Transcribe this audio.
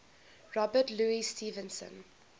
robert louis stevenson